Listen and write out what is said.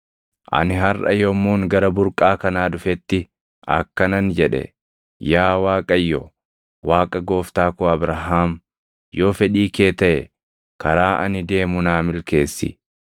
“Ani harʼa yommuun gara burqaa kanaa dhufetti akkanan jedhe; ‘Yaa Waaqayyo, Waaqa gooftaa koo Abrahaam yoo fedhii kee taʼe karaa ani deemu naa milkeessi.